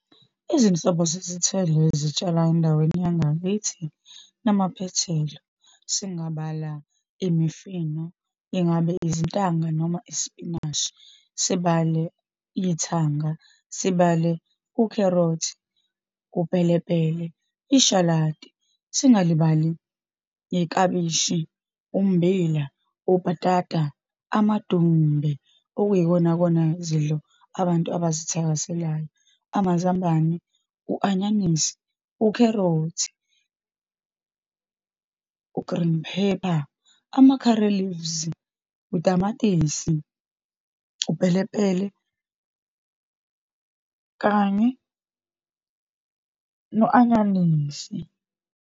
Izinhlobo zezithelo ezitshalwa endaweni yangakithi namaphethelo, singabala imifino, ingabe izintanga noma isipinashi. Sibale ithanga, sibale ukherothi, upelepele, ishalati, singalibali iklabishi, ummbila, ubhatata, amadumbe, okuyikonakona zidlo abantu abazi ebazithakaselayo, amazambane, u-anyanisi, ukherothi, u-green pepper, ama-curry leaves, utamatisi, upelepele, kanye no-anyanisi.